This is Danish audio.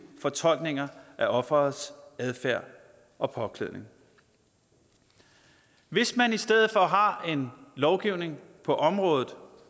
fortolkninger af offerets adfærd og påklædning hvis man i stedet for har en lovgivning på området